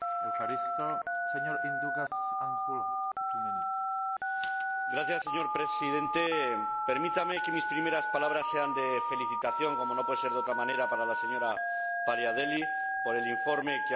Señor Presidente, permítame que mis primeras palabras sean de felicitación, como no puede ser de otra manera, para la señora Paliadeli, por el informe que ha presentado, primero ante la Comisión de Peticiones y ahora aquí en el Pleno.